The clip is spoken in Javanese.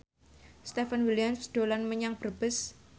Stefan William dolan menyang Brebes